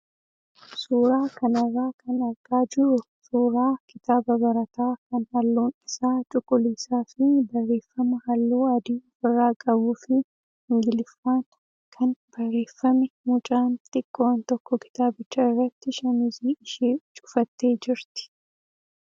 Suuraa kanarraa kan argaa jirru suuraa kitaaba barataa kan halluun isaa cuquliisaa fi barreeffama halluu adii ofirraa qabuu fi ingiliffaan kan barreeffame mucaan xiqqoon tokko kitaabicha irratti shaamizii ishee cufattee jirti.